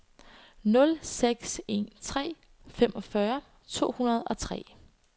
nul seks en tre femogfyrre to hundrede og tre